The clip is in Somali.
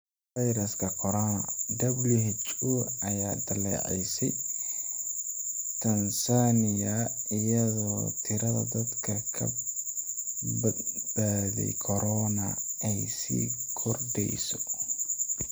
Fayraska Corona: WHO ayaa dhaleeceysay Tansaaniya iyadoo tirada dadka ka badbaaday corona ay sii kordheyso